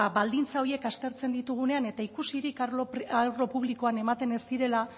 ba baldintza horiek aztertzen ditugunean eta ikusirik arlo publikoan ematen ez direla